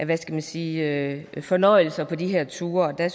hvad skal man sige fornøjelser på de her ture der